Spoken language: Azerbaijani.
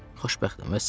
Xoşbəxtəm, vəssalam.